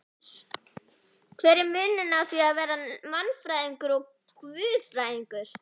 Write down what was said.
Hver er munurinn á því að vera mannfræðingur og guðfræðingur?